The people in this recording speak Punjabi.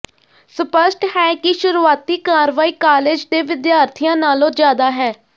ਸਪੱਸ਼ਟ ਹੈ ਕਿ ਸ਼ੁਰੂਆਤੀ ਕਾਰਵਾਈ ਕਾਲਜ ਦੇ ਵਿਦਿਆਰਥੀਆਂ ਨਾਲੋਂ ਜ਼ਿਆਦਾ ਹੈ